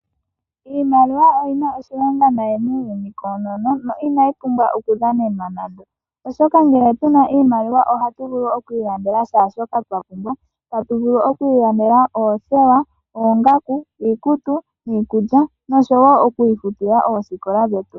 Iimaliwa oyina oshilonga nayi muuyuni koonono na inayi pumbwa okudhanenwa nande. Oshoka ngele tu na iimaliwa ohatu vulu okwiilandela shaashoka twapumbwa. Tatu vulu okwiilandela oothewa, oongaku, iikutu niikulya nosho wo okwiifutila oosikola dhetu.